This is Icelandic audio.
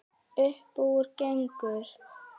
Uppúr engu?